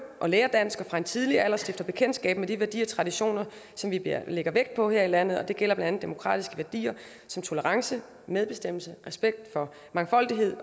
og lærer dansk og fra en tidlig alder stifter bekendtskab med de værdier og traditioner som vi lægger vægt på her i landet og det gælder blandt andet demokratiske værdier som tolerance medbestemmelse respekt for mangfoldighed